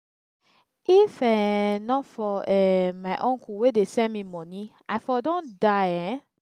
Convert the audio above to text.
if um not for um my uncle wey dey send me money i for don die um